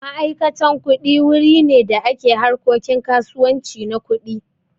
Ma'aikatan kuɗi wuri ne da ke harkokin kasuwanci na kuɗi.